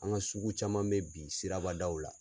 An ka sugu caman bɛ bi sirabdaw la